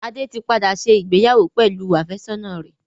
Adé tí padà ṣe ìgbéyàwó pẹ̀lú àfẹ́sọ́nà rẹ̀.